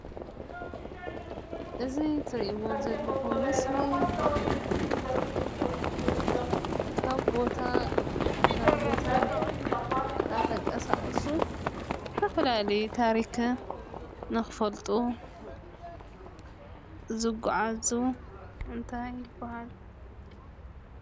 እዚ ትሪእዎ ዘለኹም ምስሊ ካብ ቦታ ናብ ቦታ እናተንቀሳቐሱ ዝተፈላለየ ታሪኽ ንክፈልጡ ዝጓዓዙ እንታይ ይበሃል ?